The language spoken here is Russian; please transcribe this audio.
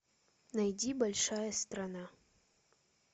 найди большая страна